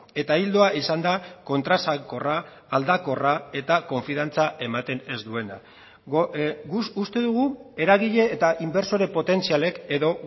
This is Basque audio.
eta ildoa izan da kontraesankorra aldakorra eta konfiantza ematen ez duena uste dugu eragile eta inbertsore potentzialek edo